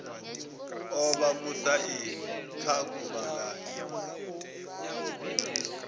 o vha musaini kha guvhangano